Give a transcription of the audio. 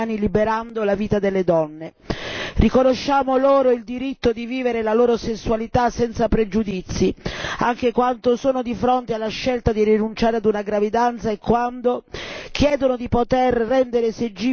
Riconosciamo loro il diritto di vivere la loro sessualità senza pregiudizi, anche quando sono di fronte alla scelta di rinunciare a una gravidanza e quando chiedono di poter rendere esigibile il diritto a una maternità negata.